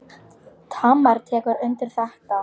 Tamar tekur undir þetta.